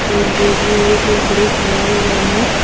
के बोट में एक लकड़ी खड़ा हुआ है।